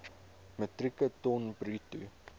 metrieke ton bruto